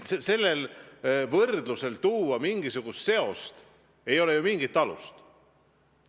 Sellel võrdlusel, seose tekitamisel ei ole ju mingit alust.